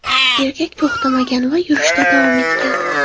Erkak to‘xtamagan va yurishda davom etgan.